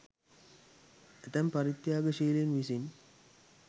ඇතැම් පරිත්‍යාගශීලීන් විසින්